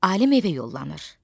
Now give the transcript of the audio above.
Alim evə yollanır.